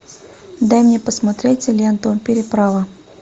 дай мне посмотреть ленту переправа